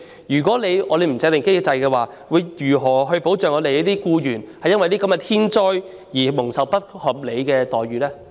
如不制訂機制，政府又將會如何保障僱員在天災後，不會受到不合理的待遇呢？